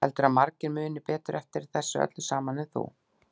Heldurðu að margir muni betur eftir þessu öllu saman en þú?